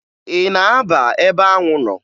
Ị na-aba ebe anwụ nọ?